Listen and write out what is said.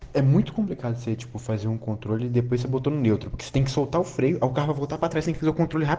мы публикаций очков азим контрольные работы нет таких слов риоканов относительно контроля